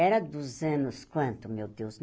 Era dos anos quanto, meu Deus?